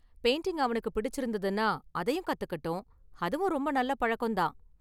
Painting அவனுக்கு பிடிச்சிருந்ததுன்னா அதையும் கத்துக்கட்டும், அதுவும் ரொம்ப​ நல்ல​ பழக்கம் தான்.